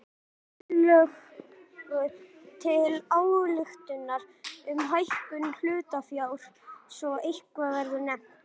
tillögu til ályktunar um hækkun hlutafjár svo eitthvað sé nefnt.